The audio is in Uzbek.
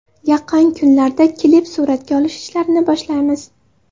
Yaqin kunlarda klip suratga olish ishlarini boshlaymiz.